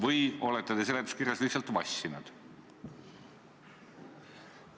Või olete te seletuskirjas lihtsalt vassinud?